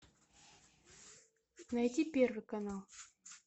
найти первый канал